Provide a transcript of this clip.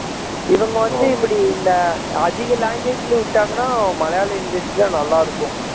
இவங்க வந்து இப்படி இந்த அதிக language ல விட்டாங்கன்னா மலையாள industry ல நல்லா இருக்கும்